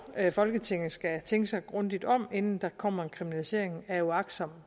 at folketinget skal tænke sig grundigt om inden der kommer en kriminalisering af uagtsom